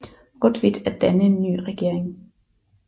Rotwitt at danne en ny regering